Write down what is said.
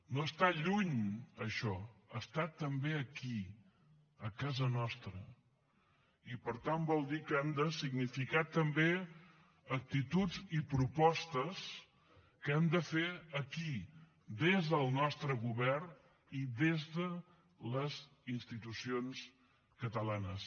no està lluny això està també aquí a casa nostra i per tant vol dir que han de significar també actituds i propostes que hem de fer aquí des del nostre govern i des de les institucions catalanes